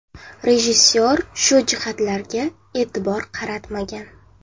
Rejissor shu jihatlarga e’tibor qaratmagan.